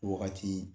Wagati